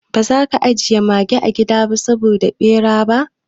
Ba za ka ajiye mage a gida saboda bera ba?